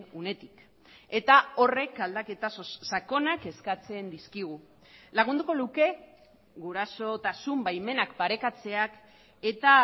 unetik eta horrek aldaketa sakonak eskatzen dizkigu lagunduko luke gurasotasun baimenak parekatzeak eta